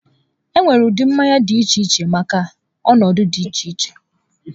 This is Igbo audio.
E nwere ụdị mmanya dị iche iche maka ọnọdụ dị iche iche